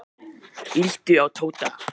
Líttu á Tóta.